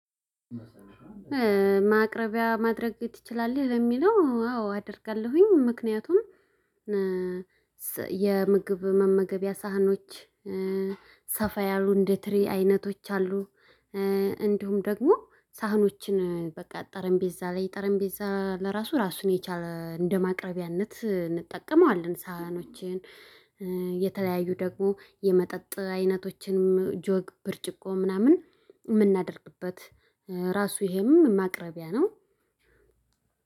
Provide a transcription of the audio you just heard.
ማቅረቢያ ማድረግ ትችላለህ ለሚለው አዎ አደርጋለሁኝ ምክንያቱም የምግብ መመገቢያ ሳህኖች ሰፋ ያሉ እንደ ትሪ አይነቶች አሉ። እንዲሁም ደግሞ ሳህኖችን በቃ ጠረምቤዛ ላይ ጠረምቤዛ ለራሱ ራሱን የቻለ እንደማቅረቢያነት እንጠቀመዋለን ሳህኖችን። የተለያዩ ደግሞ የመጠጥ አይነቶችንም ጆግ ብርጭቆ ምናምን የምናደርግበት። ራሱ ይሄም ማቅረቢያ ነው።